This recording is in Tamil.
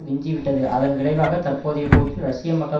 விஞ்சிவிட்டது அதன் விளைவாக தற்போதைய போக்கில் ரஷ்ய மக்கள்